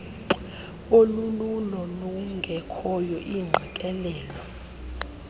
olululo lungekhoyo iingqikelelo